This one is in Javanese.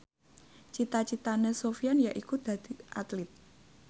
cita citane Sofyan yaiku dadi Atlit